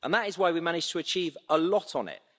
That is why we managed to achieve a lot on it.